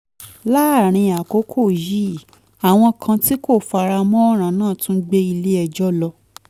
láàárín àkókò yìí àwọn kan tí kò fara mọ́ ọ̀ràn náà tún gbé ilé ẹjọ́ lọ